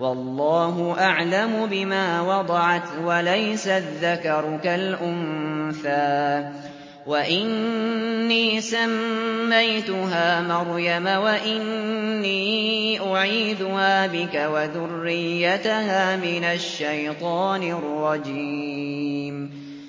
وَاللَّهُ أَعْلَمُ بِمَا وَضَعَتْ وَلَيْسَ الذَّكَرُ كَالْأُنثَىٰ ۖ وَإِنِّي سَمَّيْتُهَا مَرْيَمَ وَإِنِّي أُعِيذُهَا بِكَ وَذُرِّيَّتَهَا مِنَ الشَّيْطَانِ الرَّجِيمِ